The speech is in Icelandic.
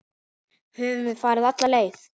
Höfum við farið af leið?